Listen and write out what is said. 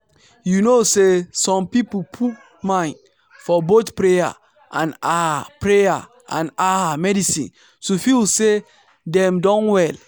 you know say some people put mind for both prayer and ah prayer and ah medicine to feel say dem don well.